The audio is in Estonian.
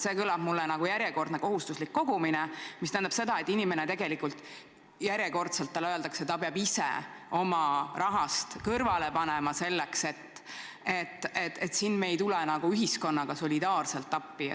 See kõlab nagu järjekordne kohustuslik kogumine, mis tähendab seda, et inimesele jälle öeldakse, et ta peab ise oma raha selleks kõrvale panema, et siin me ei tule ühiskonnana solidaarselt appi.